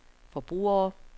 forbrugere